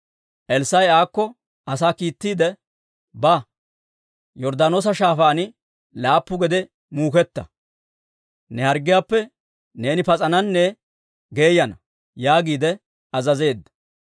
Elssaa'i aakko asaa kiittiide, «Ba, Yorddaanoosa Shaafaan laappu gede muuketta; ne harggiyaappe neeni pas'ananne geeyananne» yaagiide azazeedda.